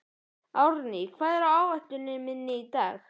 Árný, hvað er á áætluninni minni í dag?